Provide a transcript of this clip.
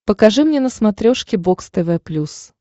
покажи мне на смотрешке бокс тв плюс